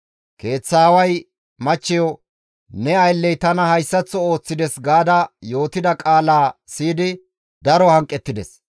Keeththa aaway machcheyo, «Ne aylley tana hayssaththo ooththides» gaada yootida qaalaa siyidi daro hanqettides.